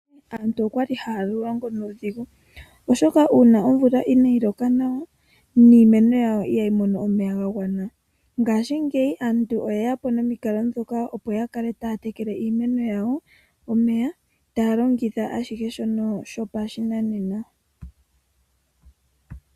Monale aantu oya li haya longo nuudhigu, oshoka uuna omvula inaayi loka nawa iimeno yawo ihayi mono omeya ga gwana nawa, ihe mongaashingeyi aantu oye ya po nomukalo gokutekela, opo ya kale taya tekele iimeno yawo taya longitha oopaipi ndhoka hadhi shamine.